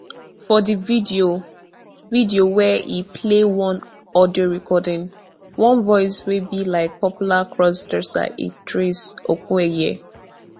for di video video wia e play one audio recording one voice wey be like popular crossdresser idris okuneye